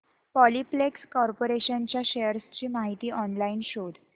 Polyplex Corporation च्या shares ची माहिती ऑनलाइन शोध